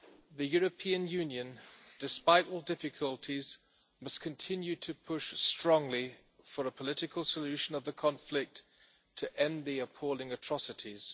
The European Union, despite all the difficulties, must continue to push strongly for a political solution of the conflict to end the appalling atrocities.